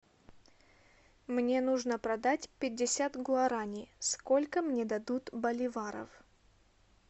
мне нужно продать пятьдесят гуарани сколько мне дадут боливаров